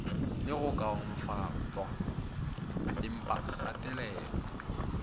le go kaonafatpwa empa kgatelelo